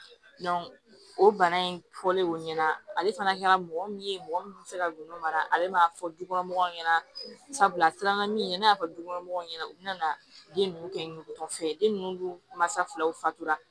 o bana in fɔlen o ɲɛna ale fana kɛra mɔgɔ min ye mɔgɔ min bɛ se ka nɔnɔ mara ale m'a fɔ dukɔnɔmɔgɔw ɲɛna sabula a siranna min ɲɛna ne y'a fɔ dukɔnɔmɔgɔw ɲɛna u bɛna den ninnu kɛ nugutɔ fɛ den ninnu ma sa filaw fatula